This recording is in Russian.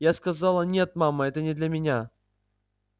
я сказала нет мама это не для меня